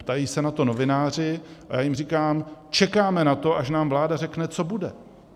Ptají se na to novináři a já jim říkám: Čekáme na to až nám vláda řekne, co bude.